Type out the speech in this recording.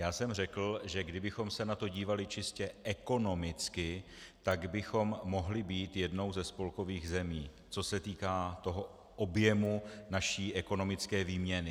Já jsem řekl, že kdybychom se na to dívali čistě ekonomicky, tak bychom mohli být jednou ze spolkových zemí, co se týká toho objemu naší ekonomické výměny.